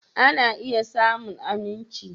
Ana iya samun aminci.